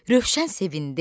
Rövşən sevindi.